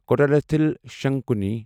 کوٹراتھل شنکوننی